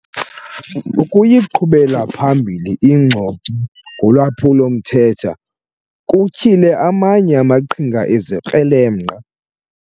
Ukuyiqhubela phambili ingxoxo ngolwaphulo-mthetho kutyhile amanye amaqhinga ezikrelemnqa.